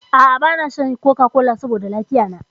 A'a bana shan coca-cola saboda lafiya na.